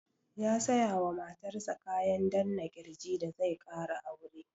Ya saya wa matar sa kayan danna ƙirji da zai ƙara aure.